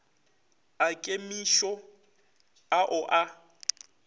a kemišo a o a